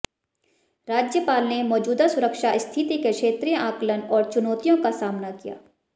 राज्यपाल ने मौजूदा सुरक्षा स्थिति के क्षेत्रीय आकलन और चुनौतियों का सामना किया